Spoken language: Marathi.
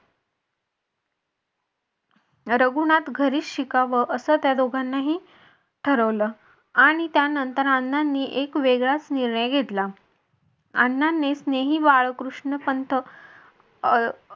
रघुनाथ घरीच शिकावं अस त्या दोघांनाही ठरवलं आणि त्यानंतर अण्णांनी एक वेगळाच निर्णय घेतला. अण्णाने स्नेही बाळकृष्ण पंत अं